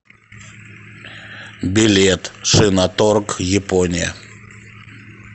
билет шиноторг япония